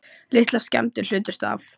Litlar skemmdir hlutust af